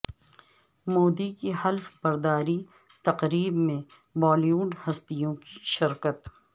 مودی کی حلف برداری تقریب میں بالی ووڈ ہستیوں کی شرکت